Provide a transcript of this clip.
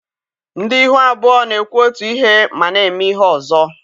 Ndị ihu abụọ na-ekwu otu ihe ma na-eme ihe ọzọ